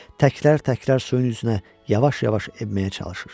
Təkrar-təkrar suyun üzünə yavaş-yavaş enməyə çalışır.